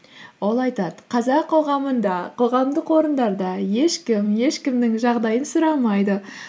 ол айтады қазақ қоғамында қоғамдық орындарда ешкім ешкімнің жағдайын сұрамайды